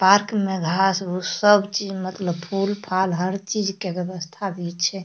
Park में घास उस्स सब चीज मतलब फूल-फाल हर चीज के व्यवस्था भी छै।